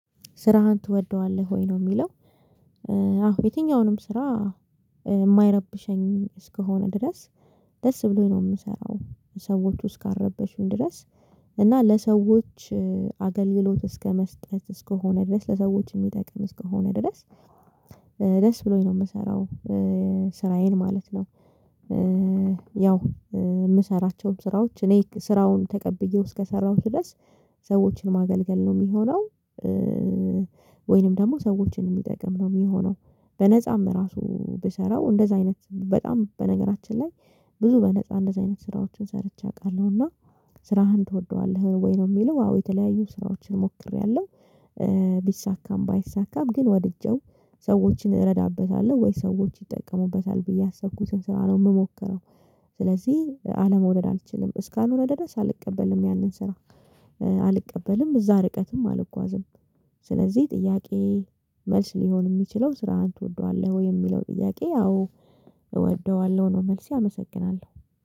ስራህን ትወደዋለህ ወይ ነው ሚለው? አሁን የትኛውንም ስራ የማይረብሸኝ እስከሆነ ድረስ ደስ ብሎኝ ነው የምሰራው ሰዎቹ እስካረበሹኝ ድረስ እና ለሰዎች አገልግሎት እስከ መስጠት እስከሆነ ድረስ ለሰዎች ሚጠቅም እስከሆነ ድረስ ደስ ብሎኝ ነው ምሰራው ስራዬን ማለት ነው። ያው ምሰራቸውም ስራዎች እኔ ስራውን ተቀብዬው እስከሰራሁት ድረስ ሰዎችን ማገልገል ነው የሚሆነው። ወይንም ደግሞ ሰዎችን የሚጠቅም ነው ሚሆነው በነፃም ራሱ ብሰራው እንደዛ አይነት በጣም በነገራችን ላይ ብዙ በነፃ እንደዚህ አይነት ስራዎችን ሰርቼ አውቃለሁ። እና ስራህን ትወደዋለህ ወይ ነው የሚለው? አዎ የተለያዩ ስራዎችን ሞክሬያለሁ። ቢሳካም ባይሳካም ግን ወድጄው ሰዎችን እረዳበታለሁ ወይ ሰዎች ይጠቀሙበታል ብዬ ያሰብኩትን ስራ ነው ምሞክረው። ስለዚህ አለመውደድ አልችልም እስካልሆነ ድረስ አልቀበልም ያንን ስራ። አልቀበልም እዛ ርቀትም አልጓዝም። ስለዚህ ጥያቄ መልስ ሊሆን ሚችለው ስራህን ትወደዋለህ ወይ የሚለው ጥያቄ አውፕ እወደዋለሁ ነው መልሴ ያመሰግናለሁ